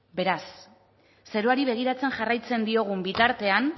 beraz zeruari begiratzen jarraitzen diogun bitartean